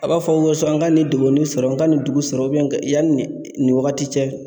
A b'a fɔ ko n ka nin degun nin sɔrɔ, n ka nin dugu sɔrɔ yanni nin wagati cɛ.